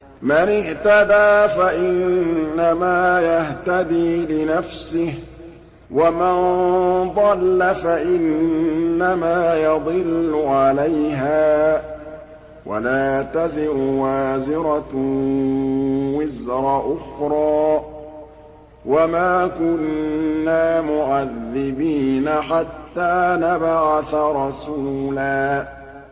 مَّنِ اهْتَدَىٰ فَإِنَّمَا يَهْتَدِي لِنَفْسِهِ ۖ وَمَن ضَلَّ فَإِنَّمَا يَضِلُّ عَلَيْهَا ۚ وَلَا تَزِرُ وَازِرَةٌ وِزْرَ أُخْرَىٰ ۗ وَمَا كُنَّا مُعَذِّبِينَ حَتَّىٰ نَبْعَثَ رَسُولًا